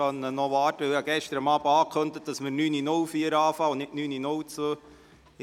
Wir können auch noch warten, da ich gestern Abend ankündigt habe, heute um 9.04 Uhr und nicht um 9.02 Uhr zu starten.